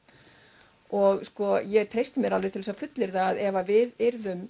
og sko ég treysti mér alveg til að fullyrða að ef við yrðum